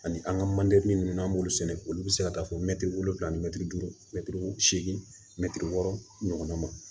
Ani an ka manje ninnu n'an b'olu sɛnɛ olu bɛ se ka taa fɔ mɛti wolonwula ani mɛtiri duuru mɛtiri seegin mɛtiri wɔɔrɔ ɲɔgɔnna ma